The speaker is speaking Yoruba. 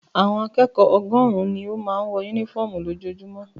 Àwọn akẹ́kọ̀ọ́ ọgọ́rùn-ún ni ó máa ń wọ únífọ́ọ́mù lójoojúmọ́.